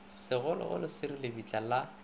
segologolo se re lebitla la